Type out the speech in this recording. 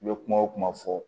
I bɛ kuma o kuma fɔ